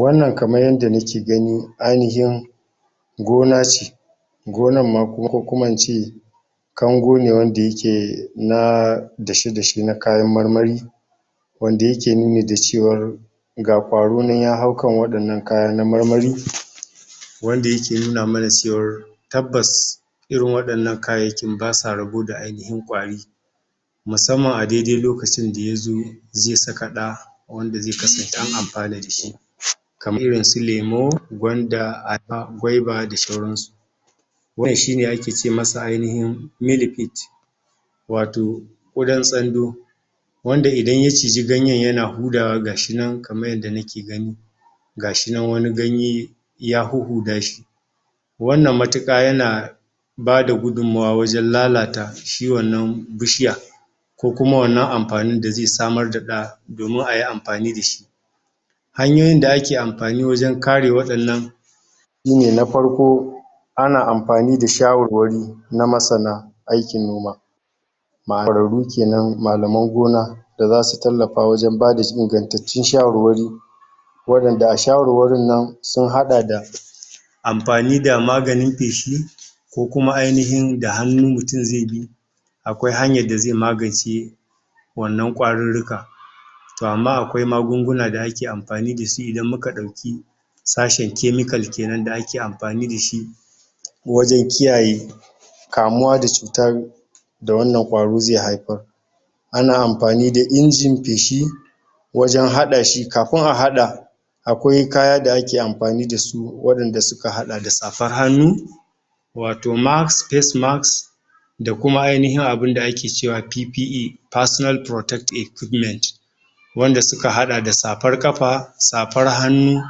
Wannan kaman yanda nake gani ainihin gona ce gonana ma ko kuma ince kango ne wanda yake na dashe dashe na kayan marmari wanda yake nuni gda cewar ga kwaro nana ya haukan waɗannan kya na marmari wanda yake nuna mana cewar tabbas irin waɗannan kayayyakin basa rabo da ainihin kwari musamman adaidai lokacin dayazo zai saka ɗa wanda zai kasance an anfana dashi kamar irin su lemo gwanda aba gwaiba da shauransu wannan shime ake ce masa ainihin milipede wato wurin t wanda idan ya ciji ganyen yana hutawa gashinan kaman yanda nake gani gashinan wani ganye yahuhuda shi wannan matuƙa yana bagumawa wajan lalata shi wannan bishiya ko kuma wannan anfanin da zai samar ɗa domin ayi anfani da shi hanyoyin da ake anfani wajen kare waɗannan shine na farko ana anfani da shawarwari na masana aikin noma mayy kenan malaman gona da zasu tallafa wajan bada ingantatun shawari waɗanda a shawarwarin nan sun haɗa da anfani da maganin feshi ko kuma ainihin da hannun mutun zai bi akwai hanyan da zai magance wannan kwaruruka to amma akwai magunguna da ake anfani dashi idan muka dauki sashen chemical kenan sa ake anfani dashi wajen kiyaye kamuwa da cutan da wannan kwaro zai haifar ana anfani da injin feshi wajen haɗashi kafin a haɗa akwai kaya da ake anfani dasu waɗanda suka haɗa dz safar hanu wato mask, face mask da kuma ainihin abu da ake cewa PPA personal protect equipment wanda suka haɗa da safar kafa safar hannu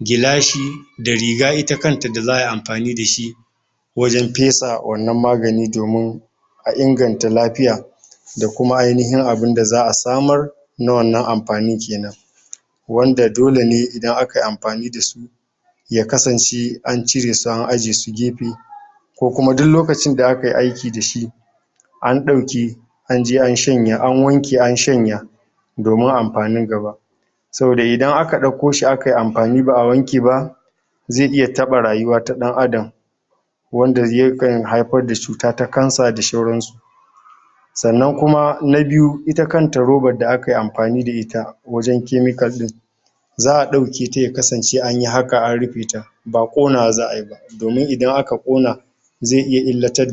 gilashi da riga ita kanta da za'ayi anfani dashi wajan fesa wannan magani domin a inganta lafiya dakuma ainihin abun da za'a samar na wannan anfanin kenan wanda dole ne idan akayi anfanin dasu ya kasance anciresu an ajesu gefe ko ku duh lokacin da akayi aiki da shi an ɗauki anje an shanya ,anwanke an shan ya domin anfanin gaba saboda idan aka ɗauka shi akayi anfani ba'a wanke ba zai iya tɓa rayuwa ta ɗan adam wanda yakan haifar da cuta ta cancer da shauran su sannan kuma na biyu ita kanta roban da akayi anfani da ita wajan chemical ɗin za'a ɗauke ta ya ksance anyi haka an rufe ta ba ƙonawa za'ayi ba domin idan aka ƙona za9 iya illatar da